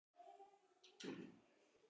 Stundum hringdi hún oft.